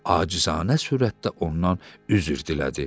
Acizanə sürətdə ondan üzr dilədi.